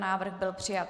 Návrh byl přijat.